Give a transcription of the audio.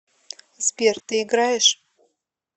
сбер ты играешь